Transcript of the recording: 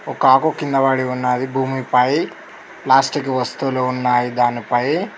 ఒక ఆకు కింద పడి ఉన్నాది భూమిపై ప్లాస్టిక్ వస్తువులు ఉన్నాయి దానిపై--